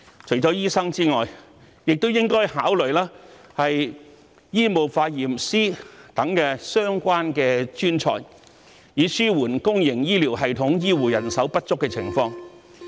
除了醫生外，政府亦應考慮引入醫務化驗師等相關專才，以紓緩公營醫療系統醫護人手不足的情況。